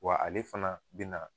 Wa ale fana bina